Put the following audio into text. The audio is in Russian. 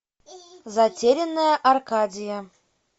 затерянная аркадия